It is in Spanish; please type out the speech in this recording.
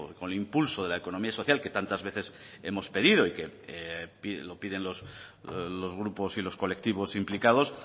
con el impulso de la economía social que tantas veces hemos pedido y que lo piden los grupos y los colectivos implicados